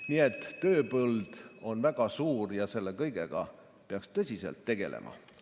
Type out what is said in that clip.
Nii et tööpõld on väga suur ja selle kõigega peaks tõsiselt tegelema.